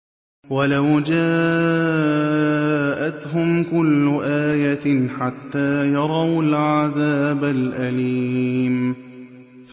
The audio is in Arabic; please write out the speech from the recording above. وَلَوْ جَاءَتْهُمْ كُلُّ آيَةٍ حَتَّىٰ يَرَوُا الْعَذَابَ الْأَلِيمَ